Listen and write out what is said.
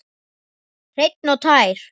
Hreinn og tær.